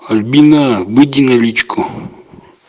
альбина выйди на личку